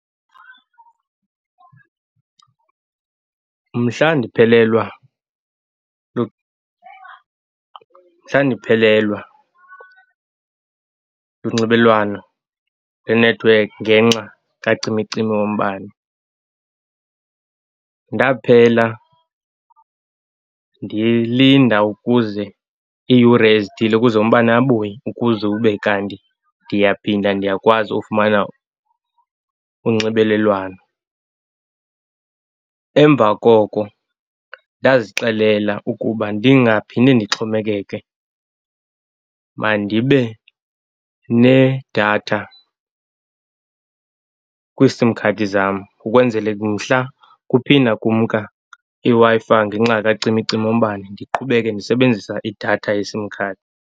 Mhla ndiphelelwa, mhla ndiphelelwa lunxibelwano lenethiwekhi ngenxa kacimicimi wombane ndaphela ndilinda ukuze iiyure ezithile ukuze umbane abuye, ukuze ube kanti ndiyaphinda ndiyakwazi ufumana unxibelelwano. Emva koko ndazixelela ukuba ndingaphinde ndixhomekeke mandibe nedatha kwiisim khadi zam, ukwenzele mhla kuphinda kumka iWi-Fi ngenxa kacimicimi wombane, ndiqhubeke ndisebenzisa idatha yesim khadi.